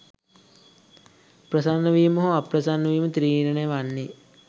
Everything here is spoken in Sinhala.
ප්‍රසන්නවීම හෝ අප්‍රසන්නවීම තීරණය වන්නේ